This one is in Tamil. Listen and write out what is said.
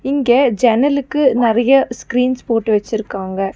இங்க ஜன்னலுக்கு நெறைய ஸ்கிரீன்ஸ் போட்டு வச்சிருக்காங்க.